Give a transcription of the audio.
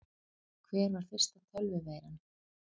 Hver var fyrsta tölvuveiran?